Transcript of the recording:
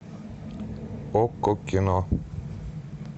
окко кино